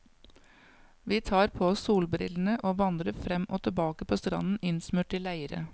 Vi tar på oss solbrillene og vandrer frem og tilbake på stranden innsmurt i leire.